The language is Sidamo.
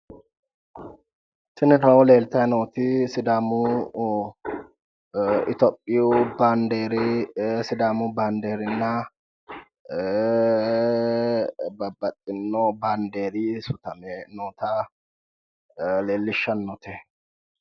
Tini kawiyo leeltayi nooti sidaamu itiyophiyu baandeeri sidaamu baandeerinna babbaxxinno bandeeri sutame noota leellishshannote.